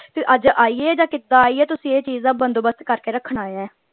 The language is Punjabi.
ਤੇ ਅੱਜ ਆਈਏ ਜਾਂ ਕਿੱਦਾਂ ਆਈਏ ਤੁਸੀਂ ਇਹ ਚੀਜ਼ ਦਾ ਬੰਦੋਬਸਤ ਕਰ ਕੇ ਰੱਖਣਾ ਆ।